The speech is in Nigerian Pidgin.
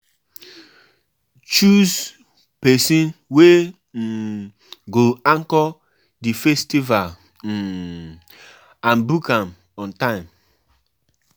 Tins don change o, um women don dey follow bring chop moni for um house. um